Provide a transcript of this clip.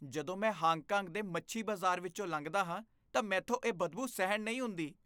ਜਦੋਂ ਮੈਂ Hong Kong ਦੇ ਮੱਛੀ ਬਾਜ਼ਾਰ ਵਿੱਚੋਂ ਲੰਘਦਾ ਹਾਂ ਤਾਂ ਮੈਂਥੋਂ ਇਹ ਬਦਬੂ ਸਹਿਣ ਨਹੀਂ ਹੁੰਦੀ।